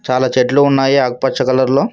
చాలా చెట్లు ఉన్నాయి ఆకుపచ్చ కలర్ లో.